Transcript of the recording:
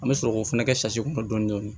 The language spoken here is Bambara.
An bɛ sɔrɔ k'o fana kɛ kɔnɔ dɔɔnin dɔɔnin